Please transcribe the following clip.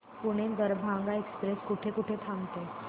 Pune Darbhanga express कुठे कुठे थांबते